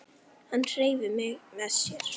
Hann hreif mig með sér.